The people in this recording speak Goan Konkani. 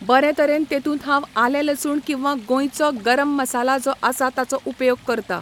बरें तरेन तेतूंत हांव आलें लसूण किंवा गोंयचो गरम मसाला जो आसा ताचो उपयोग करता